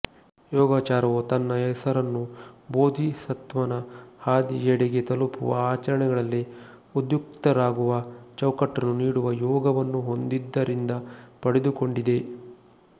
ಯೋಗಾಚಾರವು ತನ್ನ ಹೆಸರನ್ನು ಬೋಧಿಸತ್ವನ ಹಾದಿಯೆಡೆಗೆ ತಲುಪುವ ಆಚರಣೆಗಳಲ್ಲಿ ಉದ್ಯುಕ್ತರಾಗುವ ಚೌಕಟ್ಟನ್ನು ನೀಡುವ ಯೋಗ ವನ್ನು ಹೊಂದಿದ್ದರಿಂದ ಪಡೆದುಕೊಂಡಿದೆ